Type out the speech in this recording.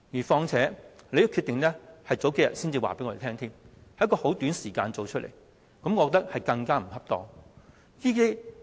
況且，你數天前才告知我們這個決定，在很短時間內作出這決定，我覺得更為不妥。